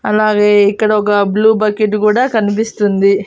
అలాగే ఇక్కడొగ blue bucket కూడా కనిపిస్తుంది.